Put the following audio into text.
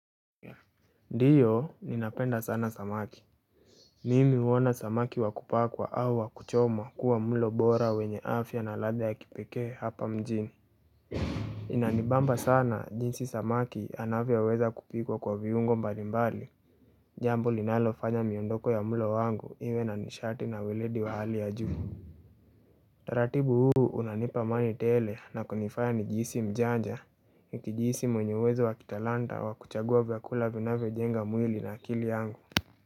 Ndiyo ninapenda sana samaki Mimi huona samaki wa kupakwa au wakuchomwa kuwa mlo bora wenye afya na ladha ya kipekee hapa mjini Inanibamba sana jinsi samaki anavyi wezakupikwa kwa viungo mbalimbali jambo linalofanya miondoko ya mlo wangu iwe na nishati na weledi wa hali ya juu taratibu huu unanipa amani tele na kunifanya nijihisi mjanja nikijihisi mwenye uwezo wa kitalanta wa kuchagua vyakula vinavyojenga mwili na akili yangu.